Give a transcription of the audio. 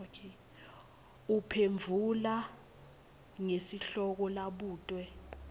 uphendvula ngesihloko labutwe